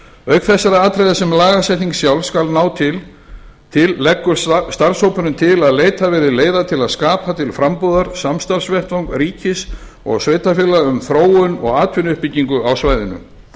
auk þessara atriða sem lagasetningin sjálf skal ná til leggur starfshópurinn til að leitað verði leiða til að skapa til frambúðar samstarfsvettvang ríkis og sveitarfélaga um þróun og atvinnuuppbyggingu á svæðinu hugað verði